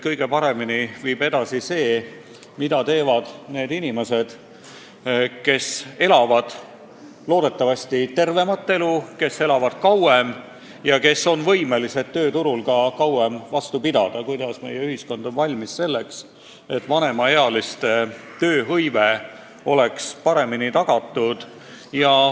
Kõige paremini viib edasi see, kui meie inimesed elavad tervemat elu ja on võimelised tööturul kauem vastu pidama, kui meie ühiskond on suuteline vanemaealiste tööhõive paremini tagama.